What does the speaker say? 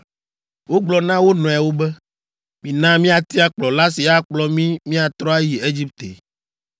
Wogblɔ na wo nɔewo be, “Mina míatia kplɔla si akplɔ mí míatrɔ ayi Egipte!”